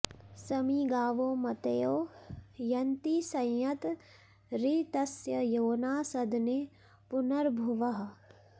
समी गावो मतयो यन्ति संयत ऋतस्य योना सदने पुनर्भुवः